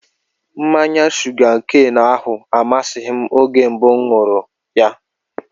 Mmanya shuga keenu ahụ amasịghị m oge mbụ mụ ṅụrụ ya